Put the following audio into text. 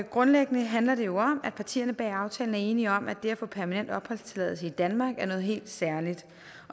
grundlæggende handler det jo om at partierne bag aftalen er enige om at det at få permanent opholdstilladelse i danmark er noget helt særligt